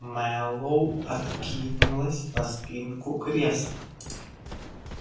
мэллоу откинулся на спинку кресла